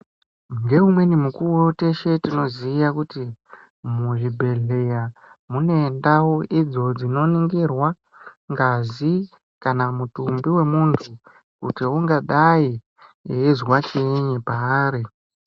Ngeumweni mukuwo teshe tinoziya kuti ,muzvibhedhlerya mune ndau idzo dzinoningirwa ngazi kana mutumbi wemuntu kuti ungadai einzwa chiini paari.